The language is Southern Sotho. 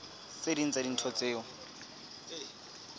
tse ding tsa dintho tseo